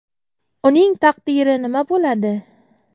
Uning taqdiri nima bo‘ladi?